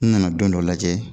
N nana don dɔ lajɛ